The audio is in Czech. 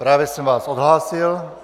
Právě jsem vás odhlásil.